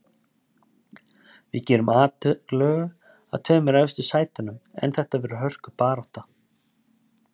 Við gerum atlögu að tveimur efstu sætunum en þetta verður hörkubarátta.